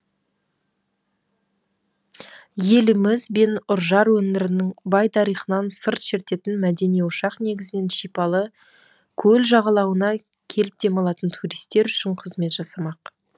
еліміз бен үржар өңірінің бай тарихынан сыр шертетін мәдени ошақ негізінен шипалы көл жағалауына келіп демалатын туристер үшін қызмет жасамақ